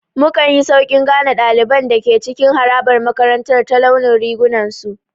Mukanyi Sauƙin gane ɗaliban da ke cikin harabar makarantar ta launin rigunan su